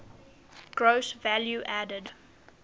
gross value added